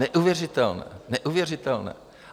Neuvěřitelné, neuvěřitelné!